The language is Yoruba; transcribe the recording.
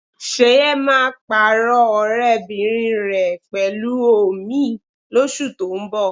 Ṣẹ̀yẹ máa pààrọ̀ ọ̀rẹ́bìnrin rẹ̀ pẹ̀lú òmíì lóṣù tó ń bọ̀